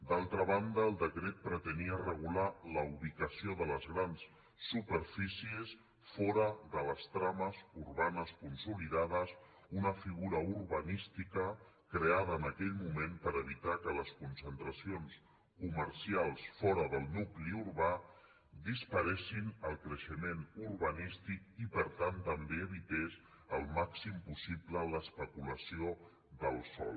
d’altra banda el decret pretenia regular la ubicació de les grans superfícies fora de les trames urbanes consoli·dades una figura urbanística creada en aquell moment per evitar que les concentracions comercials fora del nu·cli urbà disparessin el creixement urbanístic i per tant també evités el màxim possible l’especulació del sòl